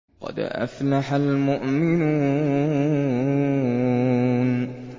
قَدْ أَفْلَحَ الْمُؤْمِنُونَ